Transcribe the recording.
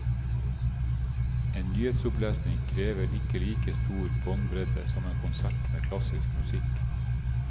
En nyhetsopplesning krever ikke like stor båndbredde som en konsert med klassisk musikk.